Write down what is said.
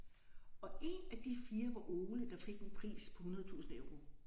Og én af de 4 var Ole der fik en pris på 100000 euro